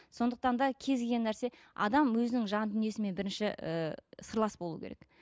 сондықтан да кез келген нәрсе адам өзінің жан дүниесімен бірінші і сырлас болу керек